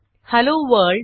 hello world